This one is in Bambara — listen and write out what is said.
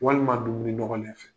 Walima dumuni nɔgɔlen fɛ.